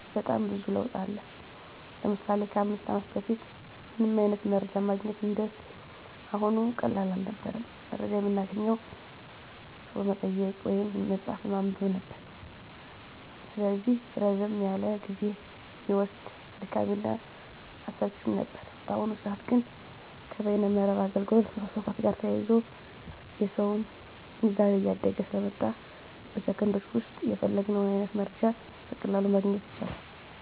በጣም ብዙ ለውጥ አለ። ለምሳሌ ከ 5 አመት በፊት ምንም አይነት መረጃ ማግኘት እንደ አሁኑ ቀላል አልነበረም። መረጃ የምናገኘው ሰው በመጠየቅ ወይም መፅሀፍ በማንበብ ነበር። ስለዚህ ረዘም ያለ ጊዜ እሚወስድ፣ አድካሚ እና አሰልችም ነበር። በአሁኑ ሰዐት ግን ከበይነ መረብ አገልግሎት መስፋፋት ጋር ተያይዞ የሰውም ግንዛቤ እያደገ ስለመጣ በ ሴኮንዶች ዉስጥ የፈለግነውን አይነት መረጃ በቀላሉ ማግኘት ይቻላል።